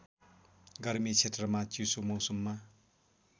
गर्मी क्षेत्रमा चिसो मौसममा